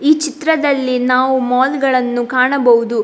ಈ ಚಿತ್ರದಲ್ಲಿ ನಾವು ಮಾಲ್‌ಗಳನ್ನು ಕಾಣಬಹುದು.